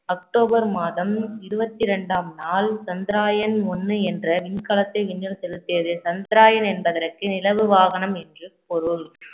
October மாதம் இருபத்தி இரண்டாம் நாள் சந்திரயான் ஒண்ணு என்ற விண்கலத்தை விண்ணில் செலுத்தியது சந்திரயான் என்பதற்கு நிலவு வாகனம் என்று பொருள்